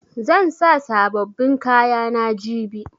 Zan sa sabobbin kayana jibi.